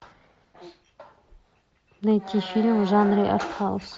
найти фильм в жанре артхаус